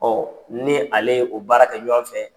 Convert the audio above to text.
ni ale ye o baara kɛ ɲɔgɔn fɛ.